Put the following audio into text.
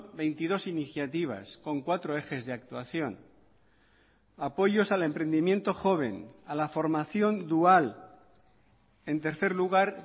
veintidós iniciativas con cuatro ejes de actuación apoyos al emprendimiento joven a la formación dual en tercer lugar